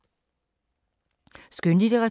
Skønlitteratur